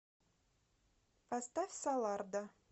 поставь солардо